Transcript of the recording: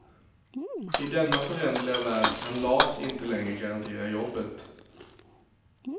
I denna föränderliga värld kan las inte längre garantera jobbet.